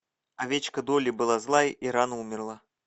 овечка долли была злая и рано умерла